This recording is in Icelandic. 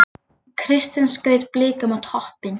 Kristinn skaut Blikum á toppinn